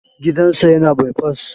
Gidan sa yana bai fas